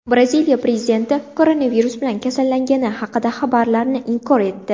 Braziliya prezidenti koronavirus bilan kasallangani haqidagi xabarlarni inkor etdi.